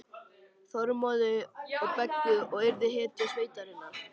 Þormóði og Beggu og yrði hetja sveitarinnar.